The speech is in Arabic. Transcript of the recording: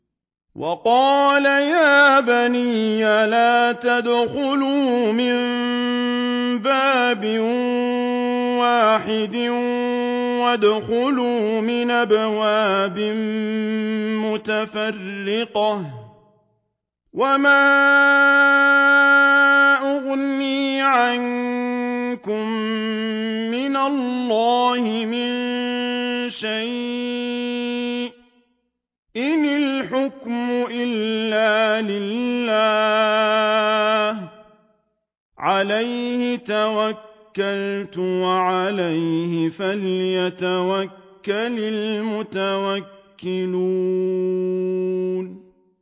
وَقَالَ يَا بَنِيَّ لَا تَدْخُلُوا مِن بَابٍ وَاحِدٍ وَادْخُلُوا مِنْ أَبْوَابٍ مُّتَفَرِّقَةٍ ۖ وَمَا أُغْنِي عَنكُم مِّنَ اللَّهِ مِن شَيْءٍ ۖ إِنِ الْحُكْمُ إِلَّا لِلَّهِ ۖ عَلَيْهِ تَوَكَّلْتُ ۖ وَعَلَيْهِ فَلْيَتَوَكَّلِ الْمُتَوَكِّلُونَ